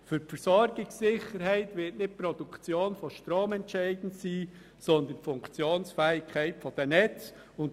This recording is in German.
Für die Versorgungssicherheit wird nicht die Produktion von Strom entscheidend sein, sondern die Funktionsfähigkeit der Netze.